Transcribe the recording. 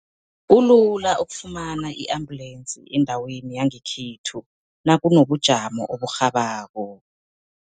Kulula ukufumana i-ambulensi endaweni yangekhethu nakunobujamo oburhabako.